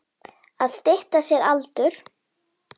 Að stytta sér aldur.